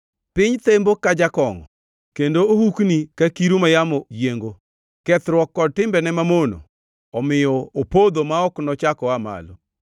Piny thembo ka jakongʼo, kendo ohukni ka kiru ma yamo yiengo, kethruok kod timbene mamono omiyo opodho ma ok nochak oa malo.